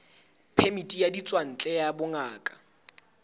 phemiti ya ditswantle ya bongaka